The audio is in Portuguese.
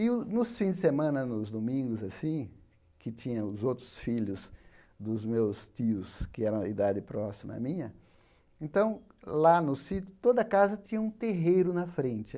E o nos fins de semana, nos domingos, assim, que tinha os outros filhos dos meus tios, que era a idade próxima à minha, então, lá no sítio, toda casa tinha um terreiro na frente.